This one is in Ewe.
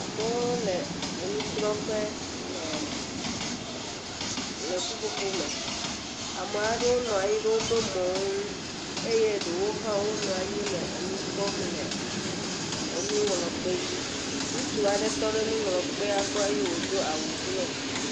Amewo le enusrɔ̃ƒe le le ƒuƒoƒo me, amea ɖewo nɔ anyi ɖe woƒe mɔwo ŋu eye ɖewo hã wonɔ anyi le nu kpɔm le enuŋlɔkpe dzi. Ŋutsu aɖe tɔ ɖe nuŋlɔkpea gbɔ eye wòdo awu blɔ.